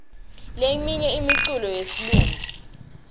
leminye imiculo yesilumbi